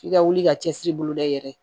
F'i ka wuli ka cɛsiri boloda i yɛrɛ ye